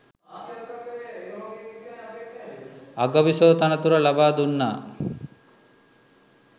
අගබිසෝ තනතුර ලබා දුන්නා